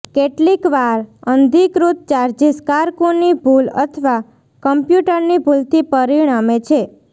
કેટલીકવાર અનધિકૃત ચાર્જીસ કારકુની ભૂલ અથવા કમ્પ્યુટરની ભૂલથી પરિણમે છે